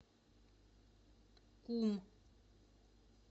кум